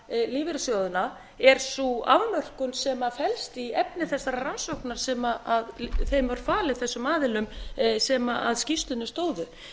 hvítskúra lífeyrissjóðina er sú afmörkun sem felst í efni þessarar rannsóknar sem þessum aðilum var falin sem að skýrslunni stóðu